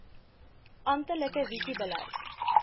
amptelike visie beleid